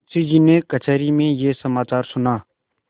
मुंशीजी ने कचहरी में यह समाचार सुना